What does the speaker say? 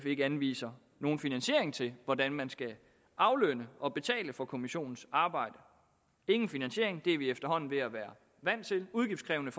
ikke anviser nogen finansiering til hvordan man skal aflønne og betale for kommissionens arbejde ingen finansiering det er vi efterhånden ved at være vant til udgiftskrævende